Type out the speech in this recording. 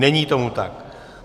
Není tomu tak.